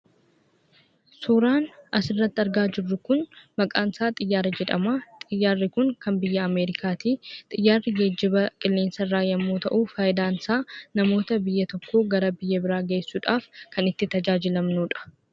Suuraan asirratti argaa jirru kun maqaan isaa xiyyaara jedhama. Xiyyaarri kun kan biyya Ameerikaati. Xiyyaarri geejjiba qilleensarraa yommuu ta'u, fayidaan isaa namoota biyya tokkoo gara biyya biraa geessuudhaaf kan itti tajaajilamnudha.